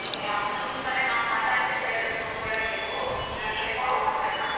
A ಅಮ್ಮನ್ ಕಡೆ ನಾವ್ ಮಾತಾಡ್ತಿವೆಳ್ರಿ phone ಕೊಡ್ರಿ ನೀವು ಇನ್ನೊಂದ್ ಸರಿ phone ಮಾಡದಾಗ.